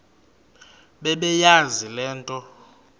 bebeyazi le nto